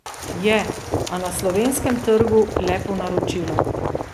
Je, a na slovenskem trgu le po naročilu...